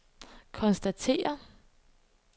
konstaterer